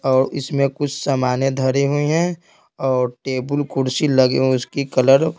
और इसमें कुछ सामानें धरी हुई हैं और टेबल कुर्सी लगी उसकी कलर --